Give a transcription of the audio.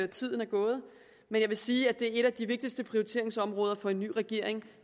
tiden er gået men jeg vil sige at et af de vigtigste prioriteringsområder for en ny regering